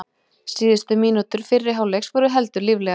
Síðustu mínútur fyrri hálfleiks voru heldur líflegar.